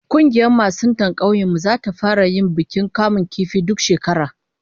Kungiyar masuntan kaunyen mu zata fara yin bukin kamun kifi duk shekara